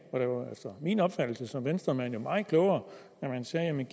efter min opfattelse som venstremand jo meget klogere at man sagde at man